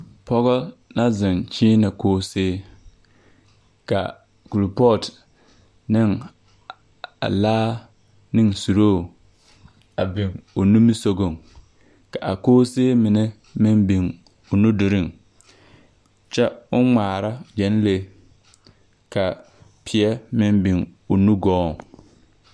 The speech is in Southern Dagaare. Pͻge na zeŋ kyeenԑ koosee ka kuripͻͻt neŋ a, neŋ suruu a biŋ o nimisogͻŋ. Ka a koosee mine meŋ biŋ o nudoreŋ kyԑ o ŋmaara gyԑnlee ka peԑ meŋ biŋ o nugͻͻŋ.